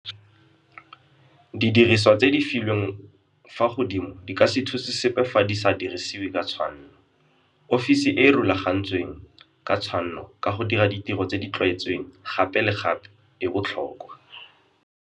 Didirisiwa tse di filweng fa godimo di ka se thuse sepe fa di sa dirisiwe ka tshwanno. Ofisi e e rulagantsweng ka tshwanno ka go dira ditiro tse di tlwaetsweng gape le gape e botlhokwa.